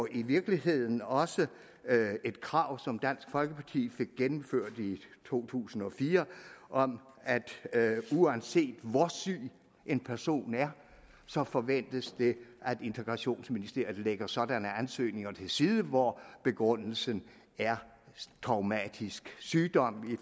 i virkeligheden også et krav som dansk folkeparti fik gennemført i to tusind og fire om at uanset hvor syg en person er så forventes det at integrationsministeriet lægger sådanne ansøgninger til side hvor begrundelsen er traumatisk sygdom i